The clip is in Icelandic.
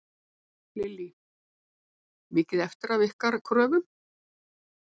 Lillý: Mikið eftir af ykkar kröfum?